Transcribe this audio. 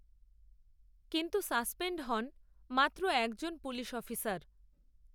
কিন্তু সাসপেণ্ড হন মাত্র এক জন পুলিশঅফিসার